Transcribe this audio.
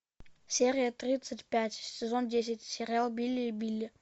серия тридцать пять сезон десять сериал билли и билли